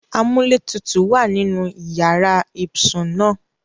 Amuletutu wa ninu iyara ibsun naa